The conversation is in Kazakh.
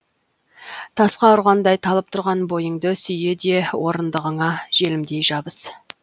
тасқа ұрғандай талып тұрған бойыңды сүйе де орындығыңа желімдей жабыс